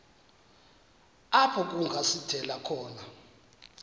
apho kungasithela khona